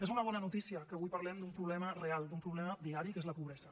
és una bona notícia que avui parlem d’un problema real d’un problema diari que és la pobresa